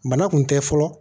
Bana kun tɛ fɔlɔ